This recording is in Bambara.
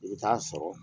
I bɛ taa sɔrɔ